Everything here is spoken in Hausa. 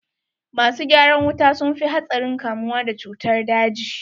Masu gyaran wuta sun fi hatsarin kamuwa da cutar daji.